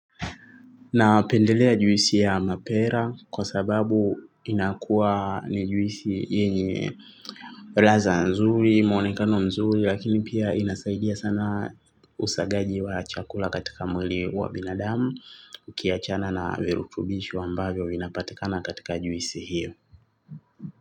Napendelea juisi ya mapera kwa sababu inakuwa ni juisi yenye laza nzuri, mwonekano nzuri, lakini pia inasaidia sana usagaji wa chakula katika mwili wa binadamu, ukiachana na virutubisho ambavyo vinapatikana katika juisi hiyo.